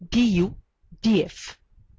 df